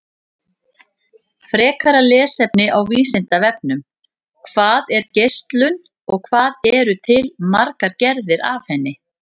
Frekara lesefni á Vísindavefnum: Hvað er geislun og hvað eru til margar gerðir af henni?